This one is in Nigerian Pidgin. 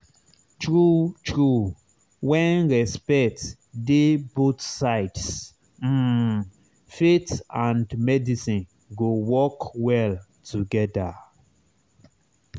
true true when respect dey both sides um faith and medicine go work well together.